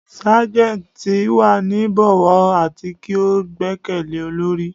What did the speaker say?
Sergeants ti wa ni bọwọ ati ki o gbẹkẹle olori